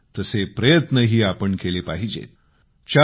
आणि तसे प्रयत्नही आपण केले पाहिजेत